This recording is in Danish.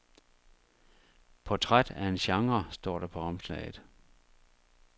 Portræt af en genre står der på omslaget.